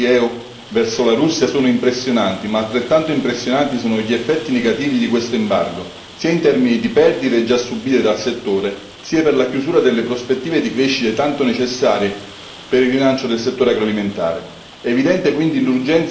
I numeri delle esportazioni dei paesi UE verso la Russia sono impressionanti, ma altrettanto impressionanti sono gli effetti negativi di questo embargo, sia in termini di perdite già subite dal settore sia per la chiusura delle prospettive di crescita tanto necessarie per il rilancio del settore agroalimentare.